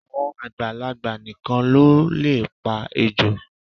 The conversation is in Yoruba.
Àwọn àgbàlagbà nìkan ni wọ́n lè pa ejò